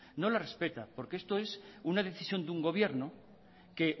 no las respeta porque esto es una decisión de un gobierno que